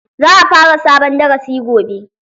Za a fara sabon darasi gobe.